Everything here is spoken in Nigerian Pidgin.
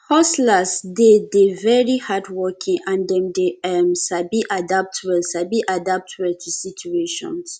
hustlers dey de very hardworking and dem dey um sabi adapt well sabi adapt well to situations